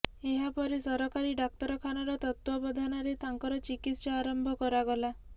ଏହାପରେ ସରକାରୀ ଡାକ୍ତରଖାନାର ତତ୍ତ୍ୱାବଧାନରେ ତାଙ୍କର ଚିକିତ୍ସା ଆରମ୍ଭ କରାଗଲା